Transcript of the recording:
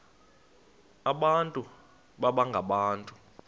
abantu baba ngabantu